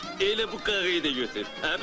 Elə bu qarıyı da götür.